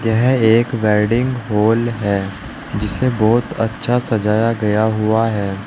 यह एक wedding hall है जिसे बहुत अच्छा सजाया गया हुआ है।